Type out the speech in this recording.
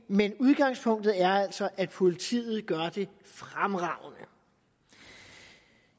men udgangspunktet er altså at politiet gør det fremragende